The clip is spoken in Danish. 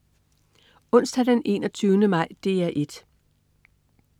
Onsdag den 21. maj - DR 1: